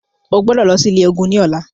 O gbọ́dọ̀ lọ sí ilé ògún ní ọlá.